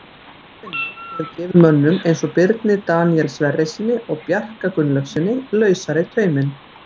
Hans vinna hefur gefið mönnum eins og Birni Daníel Sverrissyni og Bjarka Gunnlaugssyni lausari tauminn.